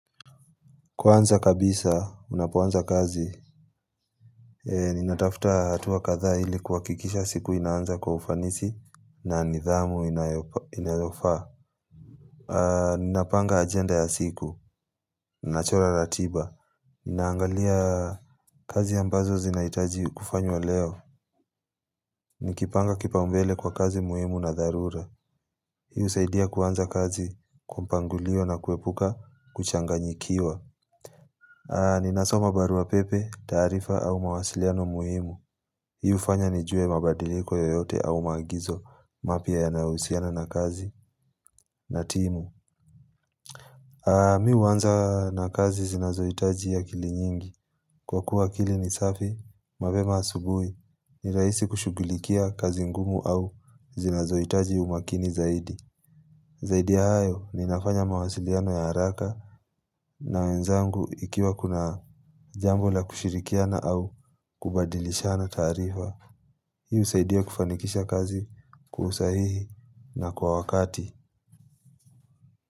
Kwanza kabisa, unapoanza kazi, ninatafuta hatua kadhaa ili kuhakikisha siku inaanza kwa ufanisi na nidhamu inayofaa. Ninapanga agenda ya siku, nachora ratiba. Ninaangalia kazi ambazo zinahitaji kufanywa leo. Nikipanga kipaumbele kwa kazi muhimu na dharura. Hii husaidia kuanza kazi, kupangulio na kuepuka, kuchanganyikiwa. Ninasoma barua pepe, taarifa au mawasiliano muhimu Hii hufanya nijue mabadiliko yoyote au maagizo mapya yayohusiana na kazi na timu Mi huanza na kazi zinazohitaji akili nyingi Kwa kuwa akili ni safi, mapema asubuhi ni rahisi kushughulikia kazi ngumu au zinazohitaji umakini zaidi Zaidi ya hayo, ninafanya mawasiliano ya haraka na wenzangu ikiwa kuna jambo la kushirikiana au kubadilishana taarifa Hii husaidia kufanikisha kazi kusahihi na kwa wakati.